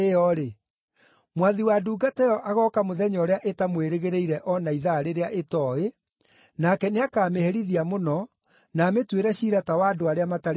Mwathi wa ndungata ĩyo agooka mũthenya ũrĩa ĩtamwĩrĩgĩrĩire o na ithaa rĩrĩa ĩtooĩ, nake nĩakamĩherithia mũno, na amĩtuĩre ciira ta wa andũ arĩa matarĩ ehokeku.